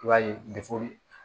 I b'a ye